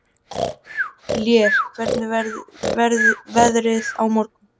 Lér, hvernig verður veðrið á morgun?